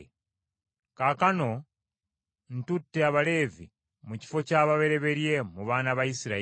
Kaakano ntutte Abaleevi mu kifo ky’ababereberye mu baana ba Isirayiri.